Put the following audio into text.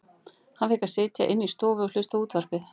Hann fékk að sitja inni í stofu og hlusta á útvarpið.